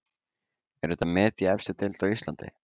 Er þetta met í efstu deild á Íslandi?